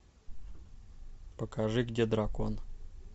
покажи где дракон